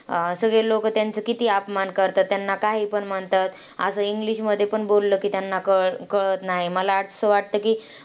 अं सगळे लोकं त्यांचा किती अपमान करतात, त्यांना काहीपण म्हणतात. असं इंग्लिशमध्ये पण बोललं की त्यांना कळ कळत नाही. मला असं वाटतं की,